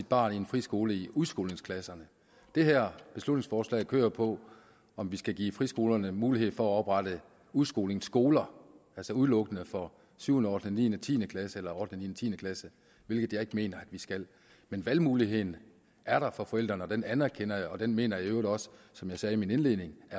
barn i en friskole i udskolingsklasserne det her beslutningsforslag kører på om vi skal give friskolerne mulighed for at oprette udskolingsskoler altså udelukkende for 7 8 niende og tiende klasse eller 8 niende og tiende klasse hvilket jeg ikke mener at vi skal men valgmuligheden er der for forældrene den anerkender jeg og den mener jeg i øvrigt også som jeg sagde i min indledning at